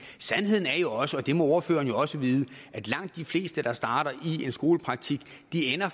sandheden er jo også og det må ordføreren jo også vide at langt de fleste der starter i en skolepraktik